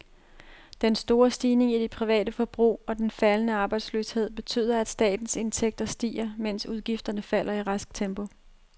Den store stigning i det private forbrug og den faldende arbejdsløshed betyder, at statens indtægter stiger, mens udgifterne falder i rask tempo.